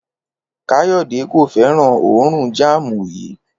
Kàyó̩dè kò fé̩ràn òórùn jáàmù yìí